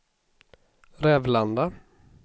Rävlanda